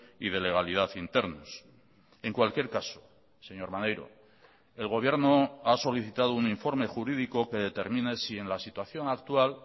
y de legalidad internos en cualquier caso señor maneiro el gobierno ha solicitado un informe jurídico que determine si en la situación actual